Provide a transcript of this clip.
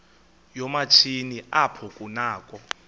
yoomatshini apho kunakho